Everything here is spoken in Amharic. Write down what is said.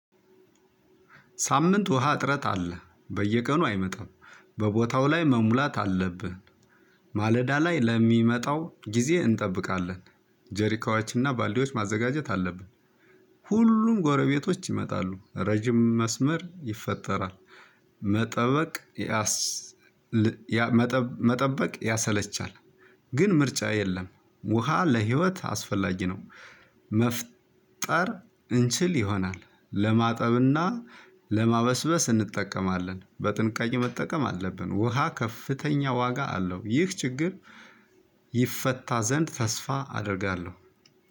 ሳምንት ውሃ እጥረት አለ። በየቀኑ አይመጣም። በቦታው ላይ መሙላት አለብህ። ማለዳ ላይ ለሚመጣው ጊዜ እንጠብቃለን። ጀሪካዎችና ባልዲዎች ማዘጋጀት አለብን። ሁሉም ጎረቤቶች ይመጣሉ። ረጅም መስመር ይፈጠራል። መጠበቅ ያሰል መጠ መጠበቅ ያሰለቻል። ግን ምርጫ የለም ውሃ ለህይወት አስፈላጊ ነው። መፍጠር እንችል ይሆናል። ለማጠብና ለማበስበስ እንጠቀማለን። በጥንቃቄ መጠቀም አለብን። ውሃ ከፍተኛ ዋጋ አለው ይህ ችግር ይፈታ ዘንድ ተስፋ አደርጋለሁ።